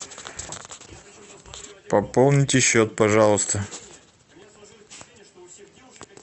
пополните счет пожалуйста